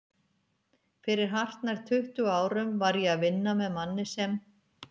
Fyrir hartnær tuttugu árum var ég að vinna með manni sem